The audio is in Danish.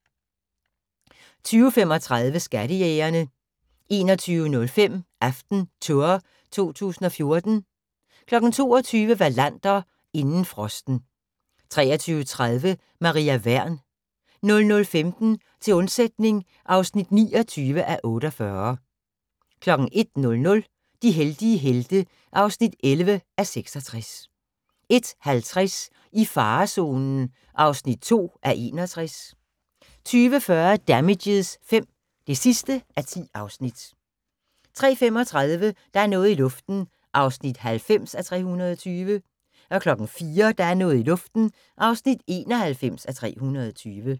20:35: Skattejægerne 21:05: AftenTour 2014 22:00: Wallander: Inden frosten 23:30: Maria Wern 00:15: Til undsætning (29:48) 01:00: De heldige helte (11:66) 01:50: I farezonen (2:61) 02:40: Damages V (10:10) 03:35: Der er noget i luften (90:320) 04:00: Der er noget i luften (91:320)